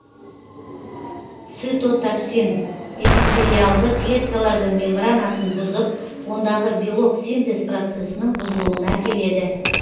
цитотоксин эпителиальды клеткалардың мембранасын бұзып ондағы белок синтез процесінің бұзылуына әкеледі